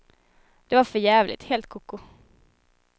Det var för jävligt, helt koko.